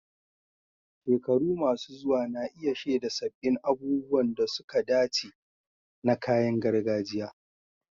Shekaru masu zuwa na iya shaida sabbin abubuwan da suka dace na kayan gargajiya